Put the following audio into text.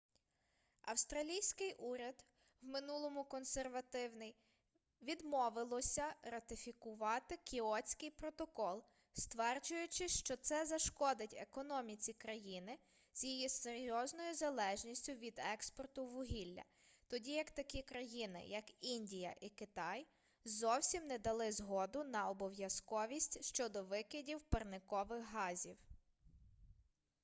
австралійський уряд в минулому консервативний відмовилося ратифікувати кіотський протокол стверджуючи що це зашкодить економіці країни з її серйозною залежністю від експорту вугілля тоді як такі країни як індія і китай зовсім не дали згоду на обов'язковість щодо викидів парникових газів